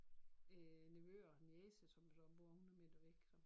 Øh nevøer niece som så bor 100 meter så